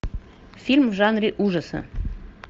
фильм в жанре ужаса